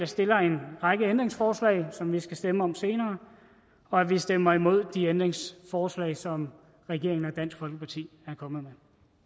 stiller en række ændringsforslag som vi skal stemme om senere og at vi stemmer imod de ændringsforslag som regeringen og dansk folkeparti er kommet